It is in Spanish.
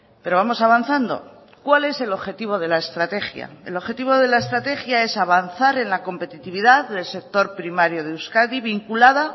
pero vamos avanzando cuál es el objetivo de la estrategia el objetivo de la estrategia es avanzar en la competitividad del sector primario de euskadi vinculada